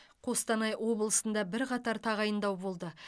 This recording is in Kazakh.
қостанай облысында бірқатар тағайындау болды